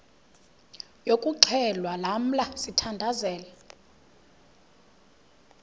yokuxhelwa lamla sithandazel